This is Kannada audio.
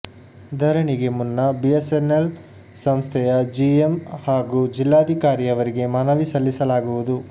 ಧರಣಿಗೆ ಮುನ್ನ ಬಿಎಸ್ಸೆನ್ನೆಲ್ ಸಂಸ್ಥೆಯ ಜಿಎಂ ಹಾಗೂ ಜಿಲ್ಲಾಧಿಕಾರಿಯವರಿಗೆ ಮನವಿ ಸಲ್ಲಿಸಲಾಗುವುದು